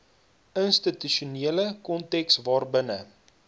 institusionele konteks waarbinne